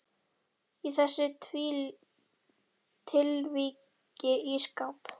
Í þessu tilviki ísskáp.